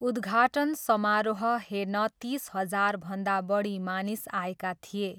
उद्घाटन समारोह हेर्न तिस हजारभन्दा बढी मानिस आएका थिए।